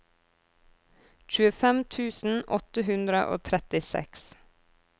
tjuefem tusen åtte hundre og trettiseks